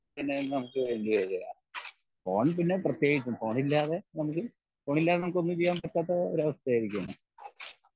പിന്നേം നമുക്ക് ഫോൺ പിന്നെ പ്രത്യേകിച്ചും ഫോൺ ഇല്ലാതെ നമുക്ക് ഫോൺ ഇല്ലാതെ നമുക്ക് ഒന്നും ചെയ്യാൻ പറ്റാത്ത ഒരു അവസ്ഥ ആയിരിക്കേണ്